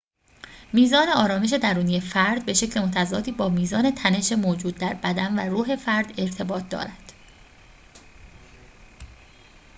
میزان آرامش درونی فرد به شکل متضادی با میزان تنش موجود در بدن و روح فرد ارتباط دارد